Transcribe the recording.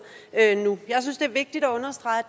nu jeg synes det er vigtigt at understrege